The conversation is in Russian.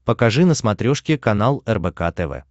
покажи на смотрешке канал рбк тв